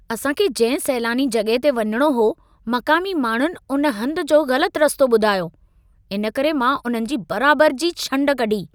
असां खे जंहिं सैलानी जॻहि ते वञिणो हो, मक़ामी माण्हुनि उन हंध जो ग़लति रस्तो ॿुधायो। इन करे मां उन्हनि जी बराबर जी छंड कढी।